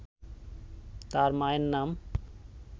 তার মায়ের নাম